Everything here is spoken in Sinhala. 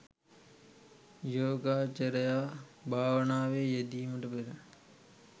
යෝගාවචරයා භාවනාවේ යෙදීමට පෙර